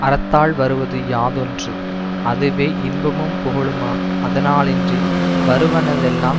அறத்தால் வருவது யாதொன்று அதுவே இன்பமும் புகழுமாம் அதனாலின்றி வருவனவெல்லாந்